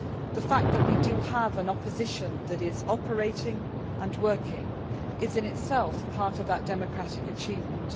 The fact that we do have an opposition that is operating and working is in itself part of that democratic achievement.